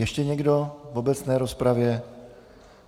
Ještě někdo v obecné rozpravě?